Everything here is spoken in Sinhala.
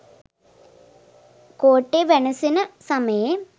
කෝට්ටේ වැනසෙන සමයේ